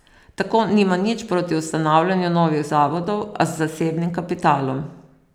Tako nima nič proti ustanavljanju novih zavodov, a z zasebnim kapitalom.